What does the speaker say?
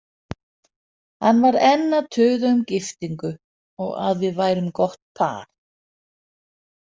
Hann var enn að tuða um giftingu og að við værum gott par.